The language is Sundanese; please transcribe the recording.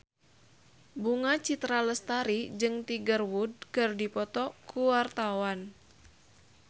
Bunga Citra Lestari jeung Tiger Wood keur dipoto ku wartawan